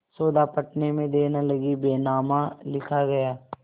सौदा पटने में देर न लगी बैनामा लिखा गया